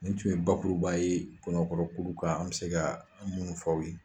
Ni tun ye bakuruba ye kɔnɔ kɔrɔ kulu kan an bɛ se ka minnu fɔ.